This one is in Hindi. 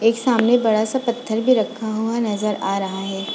एक सामने बड़ा सा पत्थर भी रखा हुआ नज़र आ रहा है।